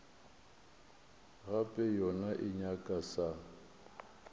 gape yona e nyaka sa